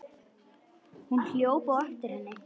Hún hljóp á eftir henni.